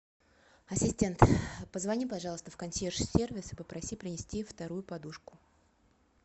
ассистент позвони пожалуйста в консьерж сервис и попроси принести вторую подушку